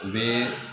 U bɛ